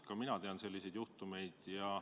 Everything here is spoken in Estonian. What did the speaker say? Ka mina tean selliseid juhtumeid.